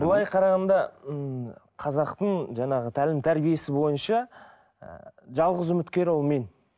былай қарағанда м қазақтың жаңағы тәлім тәрбиесі бойынша ы жалғыз үміткер ол мен